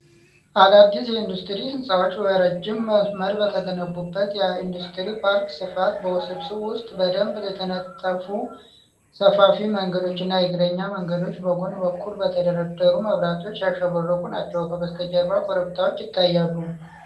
አዳዲስ የኢንዱስትሪ ህንፃዎች በረጅም መስመር በተገነቡበት የኢንዱስትሪ ፓርክ ስፋት። በውስብስብ ውስጥ በደንብ የተነጠፉ ሰፋፊ መንገዶች እና የእግረኛ መንገዶች በጎን በኩል በተደረደሩ መብራቶች ያሸበረቁ ናቸው። ከበስተጀርባ ኮረብታዎች ይታያሉ።